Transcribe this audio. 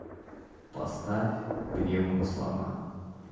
поставь пневмослона